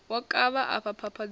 wo kavha afha phapha dzau